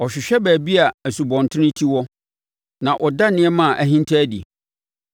Ɔhwehwɛ baabi a nsubɔntene ti wɔ na ɔda nneɛma a ahinta adi.